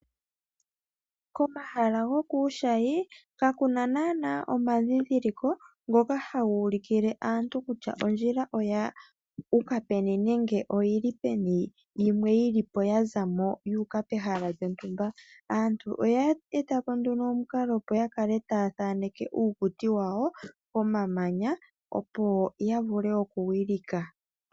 Komahala gokuushayi ka kuna naana omandhindhiliko ngoka haga ulukile aantu kutya ondjila oya uka peni nenge oyi li peni yimwe yili po ya zamo yuuka pehala lyontumba. Aantu oya eta po nduno omukalo opo ya kale taya thaaneke uukuti wawo pomamanya, opo ya vule oku wilika.